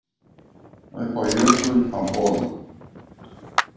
Upp á jökul á Bola